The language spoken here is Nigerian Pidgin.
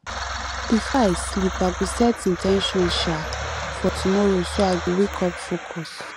before i sleep i go set in ten tions um for tomorrow so i go wake up focused